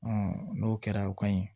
n'o kɛra o ka ɲi